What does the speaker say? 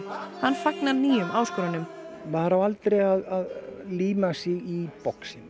hann fagnar nýjum áskorunum maður á aldrei að líma sig í boxinu